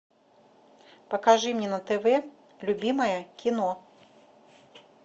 покажи мне на тв любимое кино